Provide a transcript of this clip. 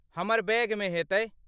हमर बैगमे हेतै।